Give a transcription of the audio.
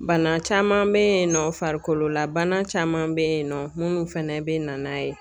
Bana caman bɛ yen nɔ farikolola bana caman bɛ yen nɔ munnu fɛnɛ bɛ na n'a ye.